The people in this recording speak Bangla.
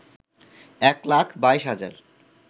এক লাখ ২২ হাজার